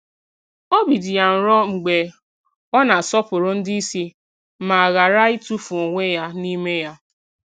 Obi dị ya nro mgbe ọ na-asọpụrụ ndị isi ma ghara itufu onwe ya n'ime ya.